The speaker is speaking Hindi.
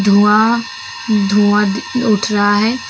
धुआ धुआ दी उठ रहा है।